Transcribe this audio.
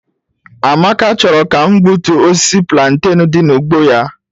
Amaka chọrọ ka m gbutuo osisi plantain dị n'ugbo ya.